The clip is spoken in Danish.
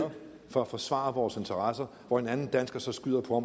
for at forsvare vores interesser og hvor en anden dansker så skyder på